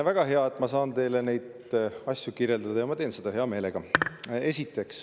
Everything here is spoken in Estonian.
Väga hea, et ma saan teile neid asju kirjeldada, ja ma teen seda hea meelega.